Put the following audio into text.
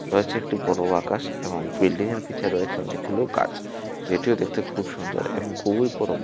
রয়েছে একটি বড় আকাশ এবং বিল্ডিং এর পিছে রয়েছে অনেকগুলো গাছ যেটিও দেখতে খুব সুন্দর এবং খুবই পরম --